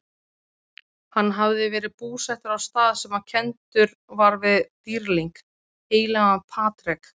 Hann hafði verið búsettur á stað sem kenndur var við dýrling, heilagan Patrek?